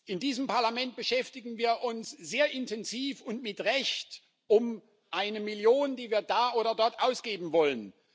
In diesem Parlament beschäftigen wir uns sehr intensiv und mit Recht damit, dass wir eine Million da oder dort ausgeben wollen.